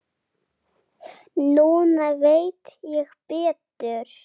Núna veit ég betur.